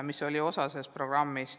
See oli osa sellest programmist.